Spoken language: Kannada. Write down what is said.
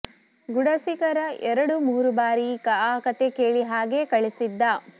ಗುಡಸೀಕರ ಎರಡು ಮೂರು ಬಾರಿ ಆ ಕಥೆ ಕೇಳಿ ಹಾಗೇ ಕಳಿಸಿದ್ದ